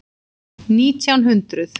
Nítján hundruð